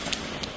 Yanımda.